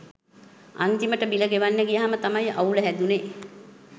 අන්තිමට බිල ගෙවන්න ගියාම තමයි අවුල හැදුනෙ.